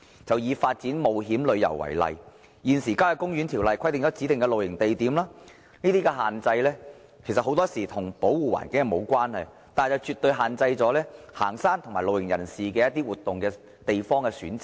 就以發展冒險旅遊為例，現時《郊野公園條例》規定了指定的露營地點，這種限制很多時候與保護環境無關，但卻絕對限制行山和露營人士對活動地方的選擇。